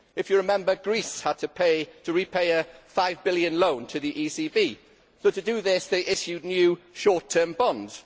If you remember, Greece had to repay a EUR 5 billion loan to the ECB, so to do this they issued new short term bonds.